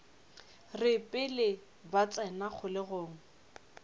re pele ba tsena kgolegong